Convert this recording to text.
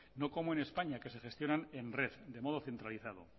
no como en españa que se gestionan en red de modo centralizado